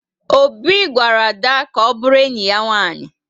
Obi gwara Ada ka ọ bụrụ enyi ya nwanyị